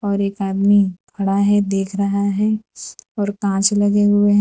और एक आदमी खड़ा है देख रहा है और कांच लगे हुए हैं।